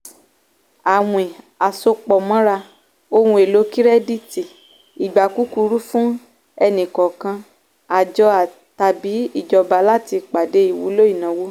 àwín àsopọ̀mọ́ra - ohun èlò kirẹ́dítì ìgbà kúkúrú fún ẹni-kọ̀ọ̀kan àjọ tàbí ìjọba láti pàdé ìwúlò ìnáwó.